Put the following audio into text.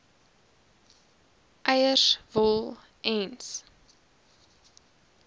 eiers wol ens